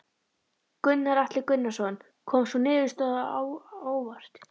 Gunnar Atli Gunnarsson: Kom sú niðurstaða á óvart?